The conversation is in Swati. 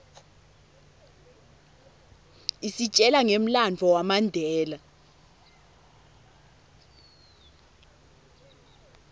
isitjela ngemlandvo wamandela